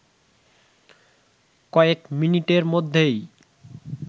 কয়েক মিনিটের মধ্যেই